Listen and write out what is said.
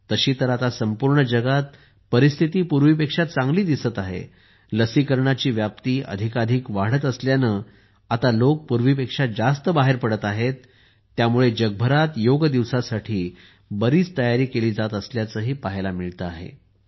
तशी तर आता संपूर्ण जगात परिस्थिती पूर्वीपेक्षा चांगली दिसत आहे लसीकरणाची व्याप्ती अधिकाधिक वाढत असल्याने आता लोक पूर्वीपेक्षा जास्त बाहेर पडत आहेत त्यामुळे जगभरात योग दिवसासाठी बरीच तयारी केली जात असल्याचे पाहायला मिळते आहे